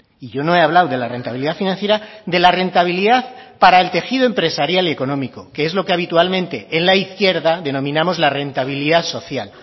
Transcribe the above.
y yo no he hablado de la rentabilidad financiera de la rentabilidad para el tejido empresarial y económico que es lo que habitualmente en la izquierda denominamos la rentabilidad social